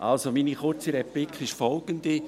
Also: Meine kurze Replik ist folgende: